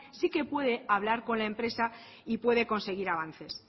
sí que puede hablar con la empresa y puede conseguir avances